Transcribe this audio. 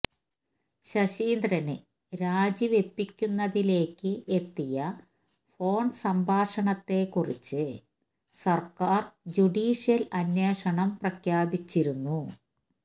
ശശീന്ദ്രന് രാജിവെയ്പ്പിക്കുന്നതിലേയ്ക്ക് എത്തിയ ഫോൺസംഭാഷണത്തെ കുറിച്ച് സർക്കാർ ജുഡീഷ്യൽ അന്വേഷണം പ്രഖ്യാപിച്ചിരുന്നു